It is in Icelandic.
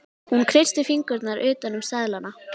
Hún kreistir fingurna utan um seðlana.